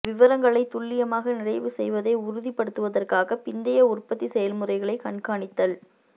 விவரங்களைத் துல்லியமாக நிறைவு செய்வதை உறுதிப்படுத்துவதற்காக பிந்தைய உற்பத்தி செயல்முறைகளை கண்காணித்தல்